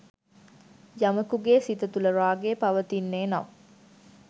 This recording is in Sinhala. යමකුගේ සිත තුළ රාගය පවතින්නේ නම්